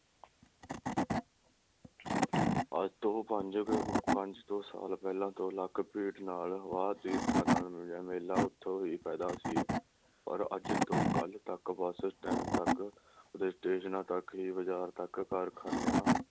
ਅੱਜ ਤੋਂ ਪੰਜ ਤੋਂ ਪੰਜ ਕੋ ਸਾਲ ਪਹਿਲਾ ਦੋ ਲੱਖ ਭੀੜ ਨਾਲ ਵਾ ਤੀਰਥਾਂ ਨਾਲ ਮਿਲਿਆ ਮੇਲਾ ਓਥੋਂ ਵੀ ਪੈਦਾ ਸੀ, ਪਰ ਅੱਜ ਤੋਂ ਕਲ ਤਕ bus stand ਤਕ ਤਕ ਹੀ ਬਜ਼ਾਰ ਤਕ ਹੀ ਕਾਰਖਾਨਿਆਂ